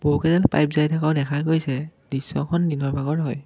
বহুকেইডাল পাইপ জাই থকাও দেখা গৈছে দৃশ্যখন দিনৰ ভাগৰ হয়।